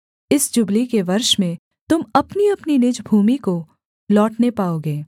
इस जुबली के वर्ष में तुम अपनीअपनी निज भूमि को लौटने पाओगे